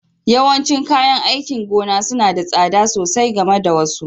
Yawancin kayan aikin gona suna da tsada sosai game da wasu